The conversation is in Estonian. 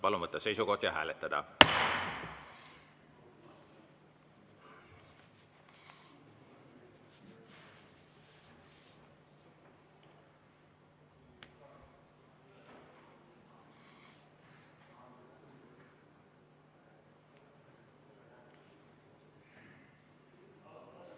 Palun võtta seisukoht ja hääletada!